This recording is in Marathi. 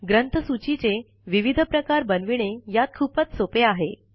ग्रंथसूची चे विविध प्रकार बनविणे यात खूपच सोपे आहे